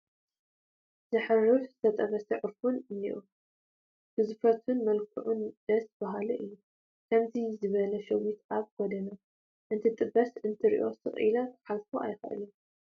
ዘሕርፍ ዝተጠበሰ ዑፉን እኒሀ፡፡ ግዝፈቱን መልክዑን ደስ በሃሊ እዩ፡፡ ከምዚ ዝበለ ሸዊት ኣብ ጐደና እንትጥበስ እንተሪአ ስቕ ኢለ ክሓልፎ ኣይክእልን፡፡